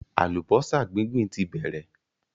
Àlùbọ́sà gbíǹgbíǹ ti bẹ̀rẹ̀